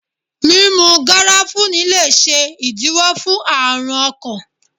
Mímú garafuni le ṣe ìdíwó fún àrùn ọkàn.